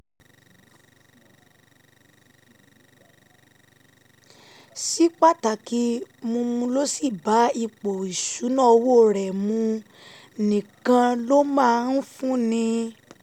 sí pàtàkì mu mu tó sì bá ipò ìṣúnná owó rẹ̀ um mu nìkan ló máa ń fúnni